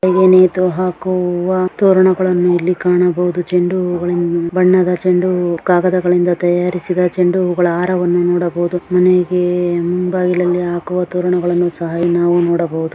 ಇಲ್ಲಿ ಮನೆಗಳಿಗೆ ನೇತು ಹಾಕುವ ತೋರಣಗಳನ್ನು ಇಲ್ಲಿ ಕಾಣಬಹುದು. ಚೆಂಡು ಹೂಗಳಿನ್ ಬಣ್ಣದ ಚೆಂಡು ಕಾಗದಗಳಿಂದ ತಯಾರಿಸಿದ ಚೆಂಡು ಹೂಗಳ ಹಾರವನ್ನು ನೋಡಬಹುದು. ಮನೆಗೆ ಮುಂಬಾಗಿಲಲ್ಲಿ ಹಾಕುವ ನಾವು ನೋಡಬಹುದು .